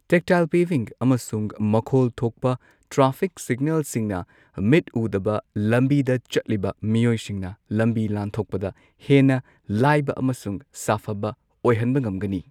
Tactile paving ꯑꯃꯁꯨꯡ ꯃꯈꯣꯜ ꯊꯣꯛꯄ ꯇ꯭ꯔꯥꯐꯤꯛ ꯁꯤꯒꯅꯦꯜꯁꯤꯡꯅ ꯃꯤꯠ ꯎꯗꯕ ꯂꯝꯕꯤꯗ ꯆꯠꯂꯤꯕ ꯃꯤꯑꯣꯏꯁꯤꯡꯅ ꯂꯝꯕꯤ ꯂꯥꯟꯊꯣꯛꯄꯗ ꯍꯦꯟꯅ ꯂꯥꯢꯕ ꯑꯃꯁꯨꯡ ꯁꯥꯐꯕ ꯑꯣꯏꯍꯟꯕ ꯉꯝꯒꯅꯤ꯫